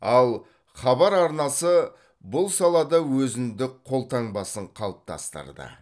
ал хабар арнасы бұл салада өзіндік қолтаңбасын қалыптастырды